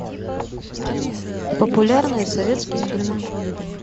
популярные советские фильмы